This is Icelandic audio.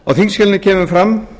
á þingskjalinu kemur fram